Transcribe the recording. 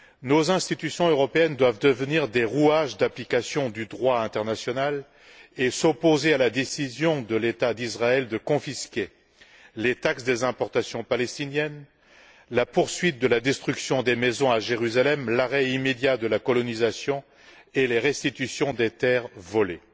Nos institutions européennes doivent devenir des rouages d'application du droit international, s'opposer à la décision de l'État d'Israël de confisquer les taxes des importations palestiniennes, de poursuivre la destruction des maisons à Jérusalem, et demander l'arrêt immédiat de la colonisation et la restitution des terres volées.